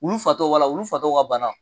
Wulu fatɔ wala wulu fatɔw ka bana